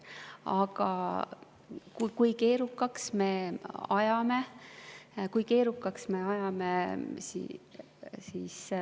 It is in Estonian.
Aga kui keerukaks me selle ajame?